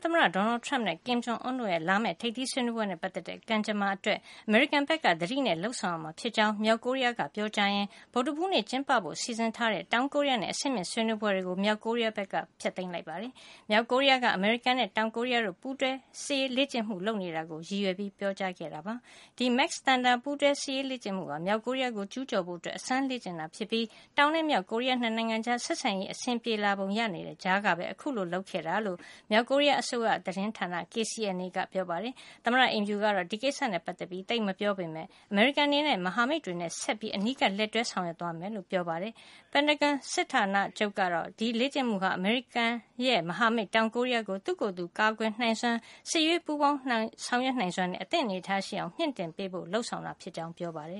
သမ္မတ Donald Trump နဲ့ Kim Jong Un တို့ရဲ့ လာမယ့် ထိပ်သီးဆွေးနွေးပွဲနဲ့ ပတ်သက်တဲ့ ကံကြမ္မာအတွက် အမေရိကန်ဘက်က သတိနဲ့လုပ်ဆောင်ရမှာ ဖြစ်ကြောင်း မြောက်ကိုရီးယားက ပြောကြားရင်း ဗုဒ္ဓဟူးနေ့ ကျင်းပဖို့ စီစဉ်ထားတဲ့ တောင်ကိုရီးယားနဲ့ အဆင့်မြင့်ဆွေးနွေးပွဲတွေကို မြောက်ကိုရီးယားက ပယ်ဖျက်လိုက်ပါတယ်။ မြောက်ကိုရီးယားက အမေရိကန်နဲ့ တောင်ကိုရီးယားတို့ ပူးတွဲစစ်ရေးလေ့ကျင့်မှု လုပ်နေတာကို ရည်ရွယ်ပြီး ပြောကြားခဲ့တာပါ။ ဒီ Max Thunder ပူးတွဲစစ်ရေးလေ့ကျင့်မှုဟာ မြောက်ကိုရီးယားကို ကျူးကျော်ဖို့ အစမ်းလေ့ကျင့်တာ ဖြစ်ပြီး တောင်နဲ့ မြောက်ကိုရီးယား ၂ နိုင်ငံကြား ဆက်ဆံရေး အဆင်ပြေလာပုံရနေတဲ့ ကြားကပဲ ခုလို လုပ်ခဲ့တာလို့ မြောက်ကိုရီးယား အစိုးရသတင်းဌာန KCNA ကပြောပါတယ်။ သမ္မတအိမ်ဖြူကတော့ ဒီကိစ္စနဲ့ ပတ်သက်ပြီး သိပ်မပြောပေမယ့် အမေရိကန်အနေနဲ့ မဟာမိတ်တွေနဲ့ ဆက်လက်ပြီး အနီးကပ်လက်တွဲ ဆောင်ရွက်သွားမယ် လို့သာပြောပါတယ်။ ပင်တာဂွန်စစ်ဌာနချုပ်ကတော့ Max Thunder လေ့ကျင့်မှုဟာ အမေရိကန်ရဲ့ မဟာမိတ် တောင်ကိုရီးယားကို သူ့ကိုယ်သူ ကာကွယ်နိုင်စွမ်း၊ စစ်ရေးပူးပေါင်းဆောင်ရွက်နိုင်စွမ်းနဲ့ အသင့်အနေထားရှိအောင် မြှင့်တင်ပေးဖို့ လုပ်ဆောင်တာ ဖြစ်ကြောင်း ပြောပါတယ